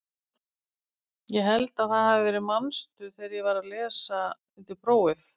Ég held að það hafi verið manstu þegar ég var að lesa undir prófið?